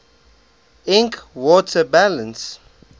ink water balance